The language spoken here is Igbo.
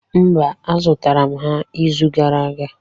Mba, azụtara m ha ịzụ gara aga.